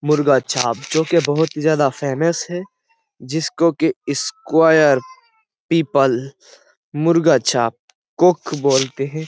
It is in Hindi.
मुर्गा छाप जो कि बहुत ही ज्यादा फेमस है जिसको कि square people Murga Chhap cook बोलते हैं।